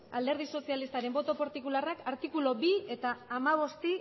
alderdi sozialistaren boto partikularrak artikulu bi eta hamabosti